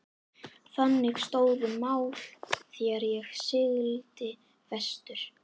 Þannig stóðu mál þegar ég sigldi vestur.